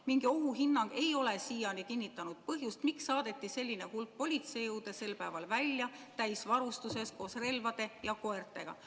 Mingi ohuhinnang ei ole siiani kinnitanud põhjust, miks saadeti selline hulk politseijõude sel päeval välja täisvarustuses koos relvade ja koertega.